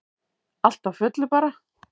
Allt á fullu bara.